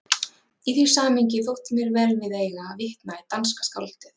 Í því samhengi þótti mér vel við eiga að vitna í danska skáldið